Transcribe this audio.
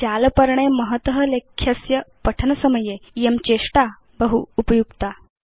जालपर्णे महत लेख्यस्य पठनसमये इयं चेष्टा बहु उपयुक्ता